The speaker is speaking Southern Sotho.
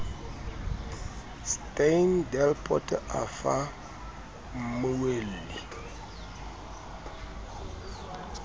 steyn delport a fa mmueli